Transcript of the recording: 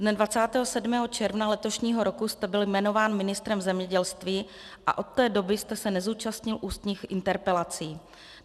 Dne 27. června letošního roku jste byl jmenován ministrem zemědělství a od té doby jste se nezúčastnil ústních interpelací.